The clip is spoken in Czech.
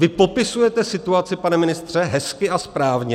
Vy popisujete situaci, pane ministře, hezky a správně.